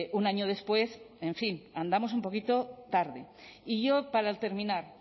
un año después en fin andamos un poquito tarde y yo para terminar